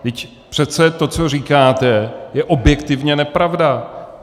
Vždyť přece to, co říkáte, je objektivně nepravda.